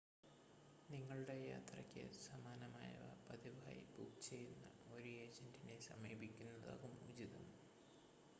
നിങ്ങളുടെ യാത്രയ്ക്ക് സമാനമായവ പതിവായി ബുക്ക് ചെയ്യുന്ന ഒരു ഏജൻ്റിനെ സമീപിക്കുന്നതാകും ഉചിതം